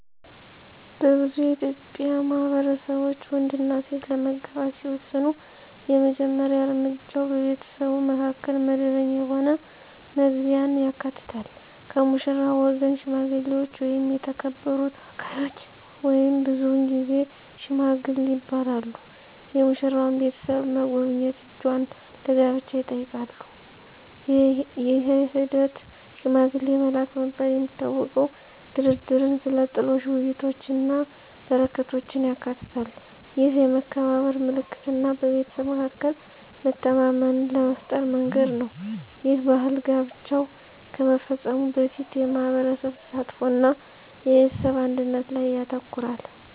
በብዙ የኢትዮጵያ ማህበረሰቦች፣ ወንድና ሴት ለመጋባት ሲወስኑ የመጀመሪያ እርምጃው በቤተሰቡ መካከል መደበኛ የሆነ መግቢያን ያካትታል። ከሙሽራው ወገን ሽማግሌዎች ወይም የተከበሩ ተወካዮች (ብዙውን ጊዜ "ሺማጊል" ይባላሉ) የሙሽራዋን ቤተሰብ መጎብኘት እጇን ለጋብቻ ይጠይቃሉ። ይህ ሂደት፣ “ሽማግሌ መላክ” በመባል የሚታወቀው፣ ድርድርን፣ ስለ ጥሎሽ ውይይቶችን እና በረከቶችን ያካትታል። ይህ የመከባበር ምልክት እና በቤተሰብ መካከል መተማመንን ለመፍጠር መንገድ ነው. ይህ ባህል ጋብቻው ከመፈጸሙ በፊት የማህበረሰብ ተሳትፎ እና የቤተሰብ አንድነት ላይ ያተኩራል።